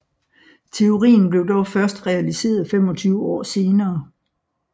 Teorien blev dog først realiseret 25 år senere